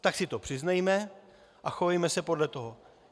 Tak si to přiznejme a chovejme se podle toho.